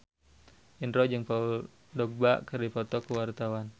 Indro jeung Paul Dogba keur dipoto ku wartawan